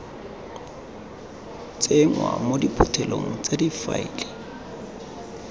tsenngwa mo diphuthelong tsa difaele